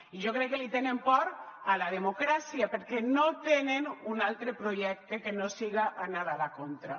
i jo crec que li tenen por a la democràcia perquè no tenen un altre projecte que no siga anar a la contra